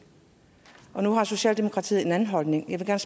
og nu har socialdemokratiet en anden holdning jeg